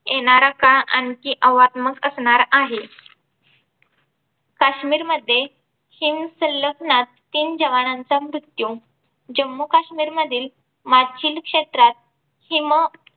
येणार काळ आणखी आवागमन असणार आहे. काश्मीर मध्ये हिमसैनिकनाथ तीन जवानांचा मृत्यू. जम्मू काश्मीर मधील मागशील क्षेत्रात हिम